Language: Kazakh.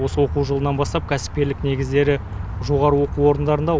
осы оқу жылынан бастап кәсіпкерлік негіздері жоғары оқу орындарында